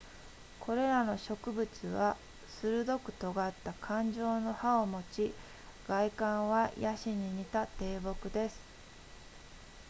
これらの植物は鋭く尖った冠状の葉を持ち外観はヤシに似た低木です